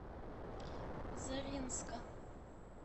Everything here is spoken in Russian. заринска